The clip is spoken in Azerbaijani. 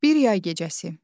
Bir yay gecəsi.